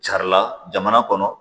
Carila jamana kɔnɔ